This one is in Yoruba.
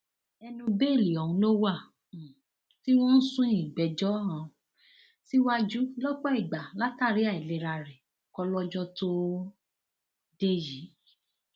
ẹnu bẹẹlì ọhún ló wà um tí wọn ń sún ìgbẹjọ um síwájú lọpọ ìgbà látàrí àìlera rẹ kólọjọ tóo dé yìí